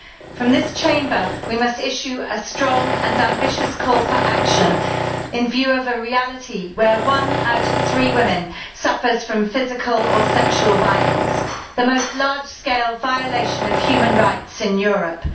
From this Chamber we must issue a strong and ambitious call for action in view of a reality where one out of three women suffers from physical or sexual violence, the largest scale violation of human rights in Europe.